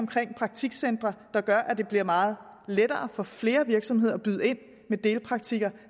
praktikcentre der gør at det bliver meget lettere for flere virksomheder at byde ind med delpraktikpladser